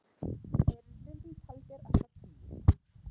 Þeir eru stundum taldir allt að tíu.